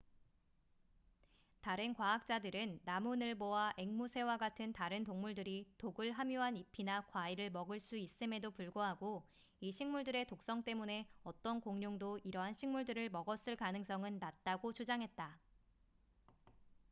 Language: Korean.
다른 과학자들은 나무늘보와 앵무새와 같은 다른 동물들이 독을 함유한 잎이나 과일을 먹을 수 있음에도 불구하고 이 식물들의 독성 때문에 어떤 공룡도 이러한 식물들을 먹었을 가능성은 낮다고 주장했다